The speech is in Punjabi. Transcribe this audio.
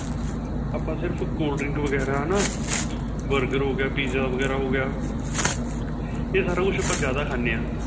ਆਪਾਂ ਸਿਰਫ਼ cold drink ਵਗੇਰਾ ਹੈਨਾ burger ਹੋ ਗਿਆ pizza ਵਗੇਰਾ ਹੋ ਗਿਆ ਏਹ ਸਾਰਾ ਕੁੱਛ ਆਪਾਂ ਜਿਆਦਾ ਖਾਂਦੇ ਹਾਂ